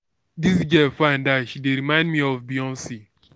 dis girl fine die she dey remind me of beyonce